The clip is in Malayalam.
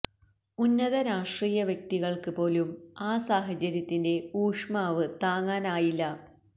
ഉന്നത രാഷ്ട്രീയ വ്യക്തിത്വങ്ങള്ക്ക് പോലും ആ സാഹചര്യത്തിന്റെ ഊഷ്മാവ് താങ്ങാനായില്ല